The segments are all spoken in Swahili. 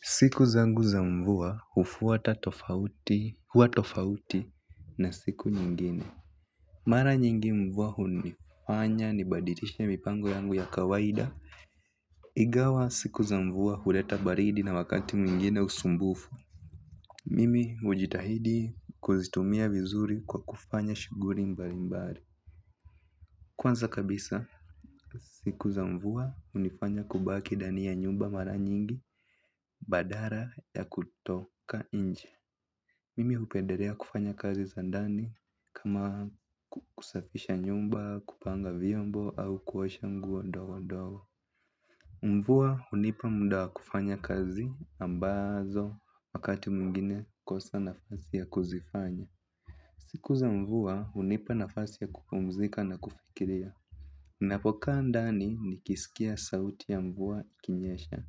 Siku zangu za mvua huwa tofauti na siku nyingine. Mara nyingi mvua hunifanya ni badilishe mipango yangu ya kawaida. Ingawa siku za mvua huleta baridi na wakati mwingine usumbufu. Mimi hujitahidi kuzitumia vizuri kwa kufanya shughuli mbalimbali. Kwanza kabisa siku za mvua hunifanya kubaki ndani ya nyumba mara nyingi badala ya kutoka nje. Mimi hupendelea kufanya kazi za ndani kama kusafisha nyumba, kupanga vyombo au kuwasha nguo ndogo ndogo. Mvua hunipa muda wa kufanya kazi ambazo wakati mwingine kosa nafasi ya kuzifanya. Siku za mvua hunipa nafasi ya kupumzika na kufikiria. Ninapoka ndani ni kisikia sauti ya mvua kinyesha.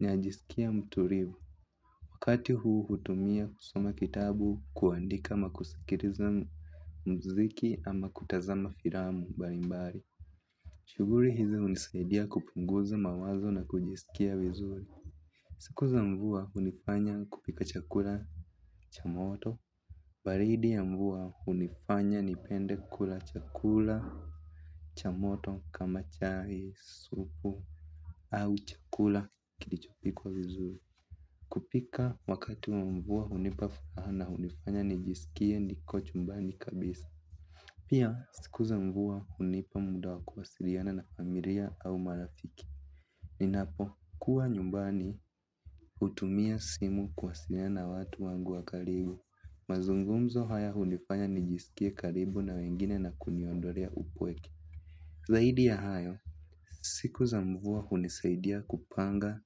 Najisikia mtulivu. Wakati huu hutumia kusoma kitabu kuandika ama kusikiliza mziki ama kutazama filamu mbalimbali. Shughuli hizi hunisaidia kupunguza mawazo na kujisikia vizuri. Siku za mvua hunifanya kupika chakula cha moto. Baridi ya mvua hunifanya nipende kula chakula cha moto kama chai supu au chakula kilichopikwa vizuri. Kupika wakati wa mvua hunipa furaha na hunifanya nijisikie niko chumbani kabisa. Pia siku za mvua hunipa muda wa kuwasiliana na familia au marafiki. Ninapo kuwa nyumbani hutumia simu kuwasiliana watu wangu wa karibu. Mazungumzo haya hunifanya nijisikie karibu na wengine na kuniondolea upweke. Zaidi ya hayo siku za mvua hunisaidia kupanga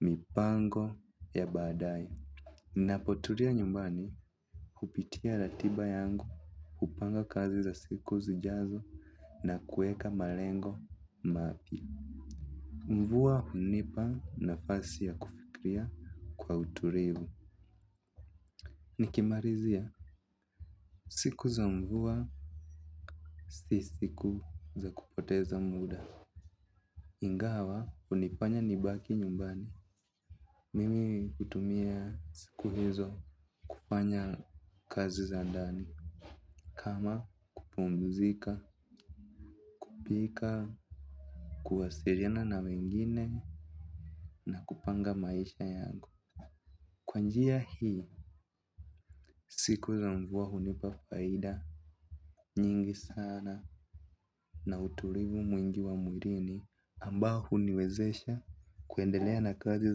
mipango ya baadaye ninapotulia nyumbani, kupitia ratiba yangu, kupanga kazi za siku zijazo na kuweka malengo mapya. Mvua hunipa nafasi ya kufikria kwa utulivu. Nikimalizia, siku za mvua si siku za kupoteza muda. Ingawa, hunifanya nibaki nyumbani. Mimi hutumia siku hizo kufanya kazi za ndani kama kupumzika, pika, kuwasiliana na wengine na kupanga maisha yangu. Kwa njia hii, siku za mvua hunipa faida, nyingi sana na utulivu mwingi wa mwilini. Ambao huniwezesha kuendelea na kazi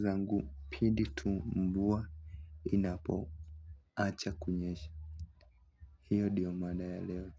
zangu pindi tu mvua acha kunyesha. Hiyo ndiyo mada ya leo.